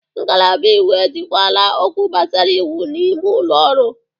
Ngalaba iwu ejikwala okwu gbasara iwu n'ime ụlọ ọrụ.